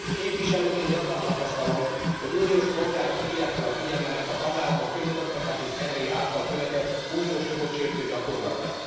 Képviselőként gyakran tapasztalom, hogy uniós polgárok hívják fel a figyelmemet a tagállamok közigazgatási szervei által követett, uniós jogot sértő gyakorlatra.